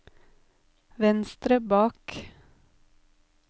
venstre bak